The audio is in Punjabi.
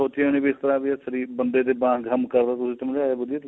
ਕਦੇਂ ਸੋਚਿਆਂ ਵੀ ਨਹੀਂ ਇਸ ਤਰ੍ਹਾਂ ਏਹ ਸ਼ਰੀਰ ਬੰਦੇ ਦੇ ਵਾਗ ਕੰਮ ਕਰਦਾ ਤੁਸੀਂ ਸਮਝਾਇਆਂ ਵਧੀਆ